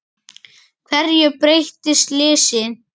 Hverju breytti slysið?